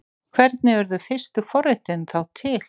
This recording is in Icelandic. Hvernig urðu fyrstu forritin þá til?